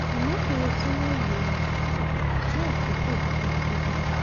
àmọ kò yẹ kí wọn lò um ó fún àkókò um gígùn